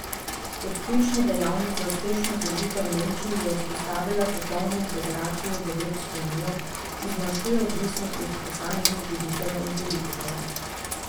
Kot ključni dejavnik za uspešno združitev Nemčij je izpostavila popolno integracijo v Evropsko unijo, ki zmanjšuje odvisnost od posameznih voditeljev in politikov.